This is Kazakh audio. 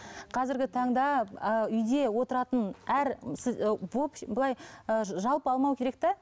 қазіргі таңда а үйде отыратын әр сіз былай ы жалпы алмау керек те